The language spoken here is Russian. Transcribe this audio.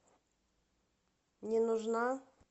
не нужна